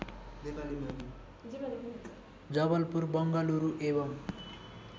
जबलपुर बङ्गलुरु एवं